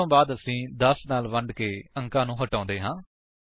ਇਸਦੇ ਬਾਅਦ ਅਸੀ 10 ਨਾਲ ਵੰਡਕੇ ਅੰਕਾਂ ਨੂੰ ਹਟਾਉਂਦੇ ਹਾਂ